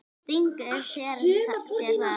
Stingur sér þá.